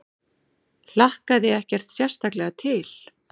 Hlakkaði ekkert sérstaklega til.